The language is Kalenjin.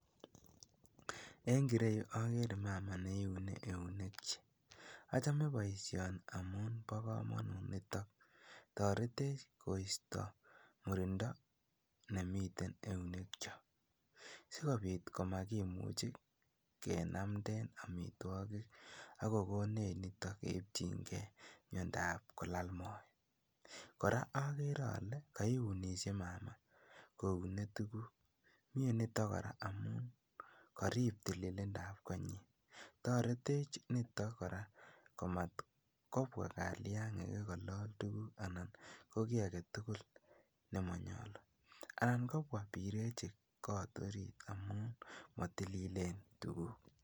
En ireyu okere mama neiunekyik, achome boishoni amun bokomonut niton, toretech koisto murindo nemiten eunekyok sikobit komakimuch kenamnden amitwokik ak kokonech nitok keitying'e miondab kolal moet, kora okere olee kaiunishe mama koune tukuk, miee niton amun koriib tililindab konyin, toretech nitok kora komat kobwa kaliang'ik kolol tukuk anan ko kii aketukul nemonyolu, anan kobwa birechik kot oriit amun motililen tukuk.